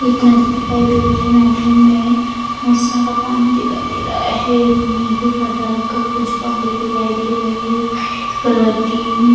एक नदी दिखाई दे रहे नदी में बहुत सारा पानी दिखाई दे रहा है नीला कलर का कुछ पानी दिखाई दे रहा है व्हाइट कलर की --